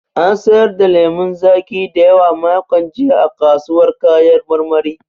An sayar da lemun zaƙi da yawa makon jiya a kasuwar kayan marmari.